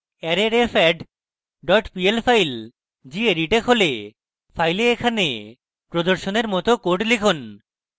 arrayrefadd pl file এখন gedit এ খোলে file এখানে প্রদর্শনের মত code লিখুন